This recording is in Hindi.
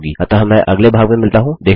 अतः मैं अगले भाग में मिलता हूँ